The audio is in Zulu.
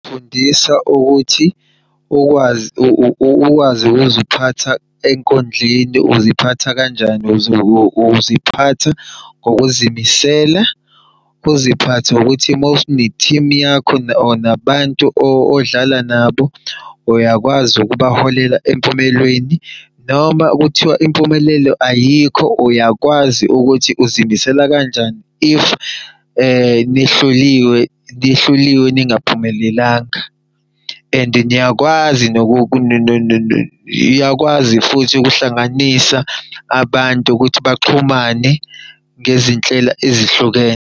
Kufundisa ukuthi ukwazi ukwazi ukuziphatha enkundleni uziphatha kanjani uziphatha ngokuzimisela. Uziphathe ngokuthi mawune-team yakho nabantu odlala nabo. Uyakwazi ukubaholela empumelweni noma kuthiwa impumelelo ayikho uyakwazi ukuthi uzimisela kanjani if nihluliwe nihluliwe ningaphumelelanga and niyakwazi iyakwazi futhi ukuhlanganisa abantu ukuthi baxhumane ngezinhlelo ezihlukene.